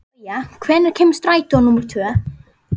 Gauja, hvenær kemur strætó númer tvö?